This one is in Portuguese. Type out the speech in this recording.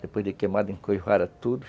Depois de queimada, tudo.